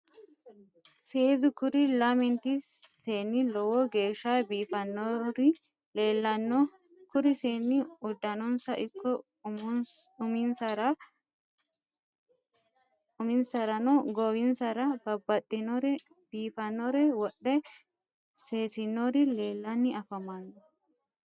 Seezu kuri lamenti seenni lowo geeshsha biifinori leellanno kuri seenni uddanonsano ikko uminsarano goowinsara babbaxxinore biifannore wodhe seesinori leellanni afamanno